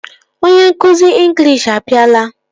Onye nkụzi ịnglish abịala